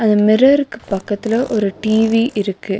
அந்த மிரர்க்கு பக்கத்துல ஒரு டி_வி இருக்கு.